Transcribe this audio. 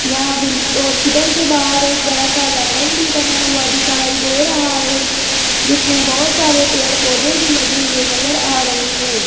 यहां बिल हॉस्पिटल के बाहर एक बड़ा सा गार्डन भी बना हुआ दिखाई दे रहा है जिसमें बहुत सारे पेड़-पौधे भी लगे हुए नजर आ रहे हैं।